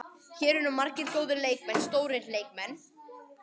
Hér eru margir góðir leikmenn, stórir leikmenn.